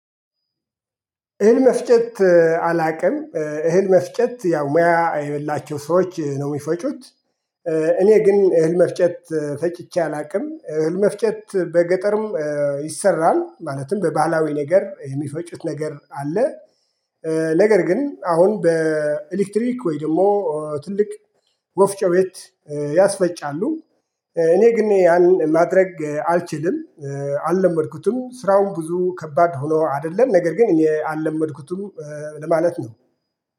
እህል መፍጨት አላውቅም እህል መፍጨት ያው ሙያ የበላችሁ ሰዎች ነው የሚፈጩት። እኔ ግን እህል መፍጨት ፈጭቼ አላውቅም እህል መፍጨት በገጠርም ይሰራል ማለትም በባህላዊ ነገር የሚፈጩት ነገር አለ። ነገር ግን አሁን በኤሌክትሪክ ወይ ደግሞ ትልቅ ወፍጮ ቤት ያስፈጫሉ። እኔ ግን ያን ማድረግ አልችልም። አልለመድኩትም ስራውን ብዙ ከባድ ሆኖ አይደለም ነገር ግን እኔ አለመድኩትም ለማለት ነው